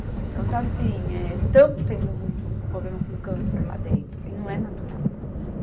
Então está assim, eh, estamos tendo muito problema com câncer lá dentro, e não é natural.